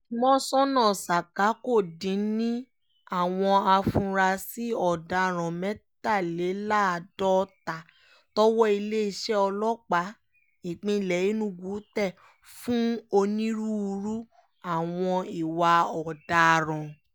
mọ́ńsónà saka kò dín ní àwọn afurasí ọ̀daràn mẹ́tàléláàádọ́ta tọwọ́ iléeṣẹ́ ọlọ́pàá ìpínlẹ̀ enugu tẹ̀ fún onírúurú àwọn ìwà ọ̀daràn